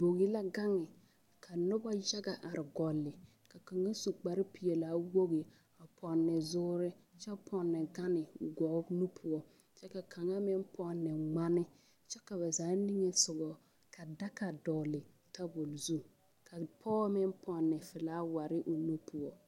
Bogi la gaŋe ka noba yaga are gɔle ka kaŋ su kparepeɛlaa wogi a pɔnne zoore kyɛ pɔnne gane gɔɔ nu poɔ kyɛ ka kaŋa meŋ pɔnne ŋmane kyɛ ka ba zaa niŋe sogɔ ka daga dɔgle tabol zu ka pɔge meŋ pɔnne filawari o nu poɔ.